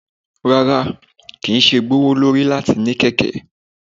Rara, kii ṣe gbowolori lati ni keke